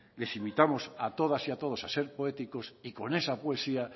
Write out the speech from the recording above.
les invitamos a todas y a todos a ser poéticos y con esa poesía